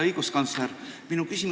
Hea õiguskantsler!